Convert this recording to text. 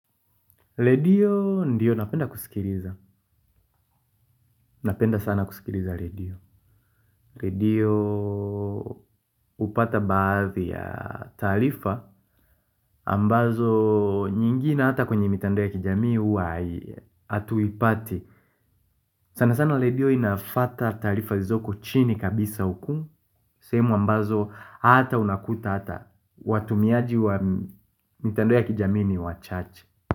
Redio ndio napenda kusikiliza, napenda sana kusikiliza redio redio hupata baadhi ya taarifa ambazo nyingine hata kwenye mitandao ya kijamii huwa hatuipati sanasana redio inafuata taarifa zilizoko chini kabisa huku sehemu ambazo hata unakuta hata watumiaji wa mitandao ya kijamii ni wachache.